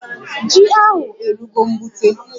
Ji ahụ erugo mgbute